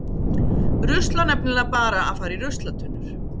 Rusl á nefnilega bara að fara í ruslatunnur.